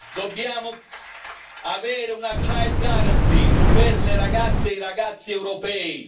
dobbiamo avere una child guarantee per le ragazze e i ragazzi europei!